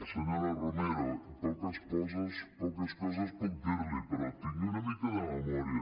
senyora romero poques coses puc dir·li però tingui una mica de memòria